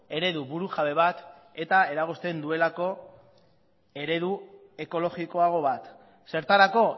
eredu burujabe bat eta eragozten duelako eredu ekologikoago bat zertarako